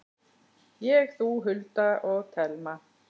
Ég, þú, Hulda og Telma.